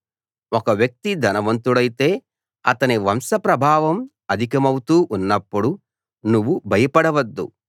ఒక వ్యక్తి ధనవంతుడైతే అతని వంశ ప్రభావం అధికమౌతూ ఉన్నప్పుడు నువ్వు భయపడవద్దు